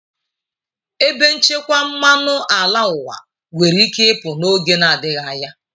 Ebe nchekwa mmanụ ala ụwa nwere ike ịpụ n'oge na-adịghị anya.